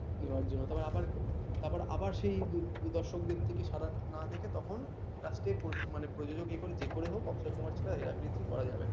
last প্রযোজক এখন যে করেই হোক অক্সয় কুমার ছাড়া হেরাফেরি theree করা যাবে না